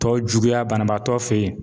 Tɔ juguya banabaatɔ fɛ yen.